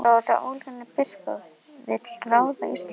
Svo þessi óhlýðni biskup vill ráða Íslandi?